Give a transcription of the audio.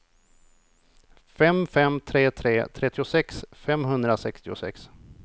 fem fem tre tre trettiosex femhundrasextiosex